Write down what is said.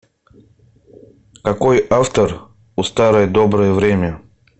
какой автор у старое доброе время